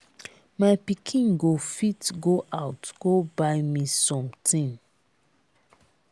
my pikin go fit go out go buy me something.